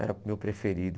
Era o meu preferido.